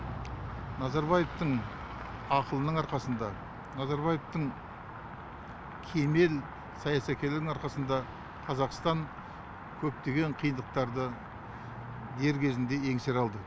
назарбаевтың ақылының арқасында назарбаевтың кемел саясаткерлігінің арқасында қазақстан көптеген қиындықтарды дер кезінде еңсере алды